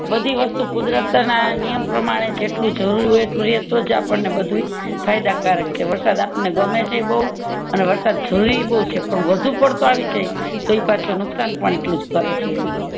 બધી વસ્તુ કુદરત ના નિયમ પ્રમાણે જેટલું જરૂરી હોય એટલું એ તોજ બધું આપણને બધુય ફાયદા કારક વરસાદ આપણને ગમે છે બૌ અને વરસાદ જરૂરી ભી છે પણ વધુ પડતો આવી જાય તો ઈ પાછો નુકશાન એટલુંજ કરે જેમ